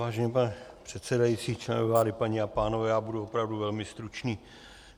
Vážený pane předsedající, členové vlády, paní a pánové, já budu opravdu velmi stručný.